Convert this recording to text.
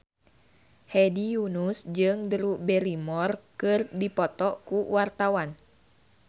Hedi Yunus jeung Drew Barrymore keur dipoto ku wartawan